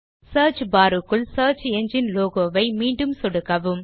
search bar க்குள் search engine logo ஐ மீண்டும் சொடுக்கவும்